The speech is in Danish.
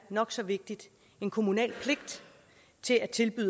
nok så vigtigt en kommunal pligt til at tilbyde